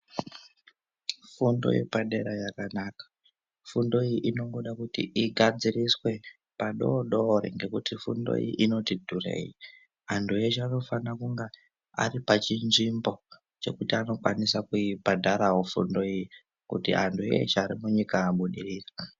Fundo yepadera yakanaka fundo iyi inongoda kuti igadziriswe padodori ngekuti fundo iyi inoti dhurei antu eshe anofana ari pachinzvimbo chekuti anokwanisa kuibhadharawo fundo iyi kuti antu eshe arimunyika abudirire.